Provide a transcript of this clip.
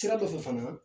Sira dɔ fɛ fana